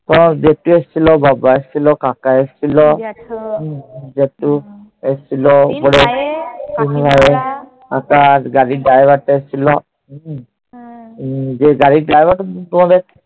তো দেখতে এসছিল। বাবা এসছিল, কাকা এসছিল, জেঠা এসছিল। গাড়ির driver টা এসছিল। হম গাড়ির driver টা তো তোমাদের